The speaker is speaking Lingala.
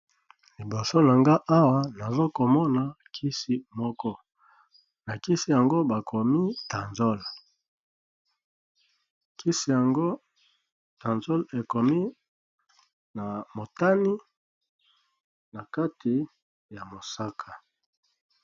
Liboso na ga awa nazokomona kisi moko na kisi yango bakomi tansole kisi yango tanzol ekomi na motani na kati ya mosaka.